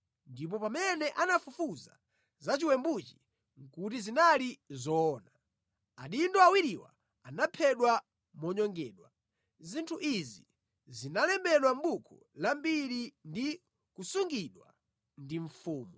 Ndipo pamene anafufuza za chiwembuchi kuti zinali zoona, adindo awiriwa anaphedwa monyongedwa. Zinthu izi zinalembedwa mʼbuku la Mbiri ndi kusungidwa ndi Mfumu.